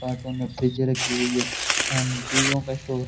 cartoon में फ्रिजें रखी हुई है सामने टीवीयो का स्टोर --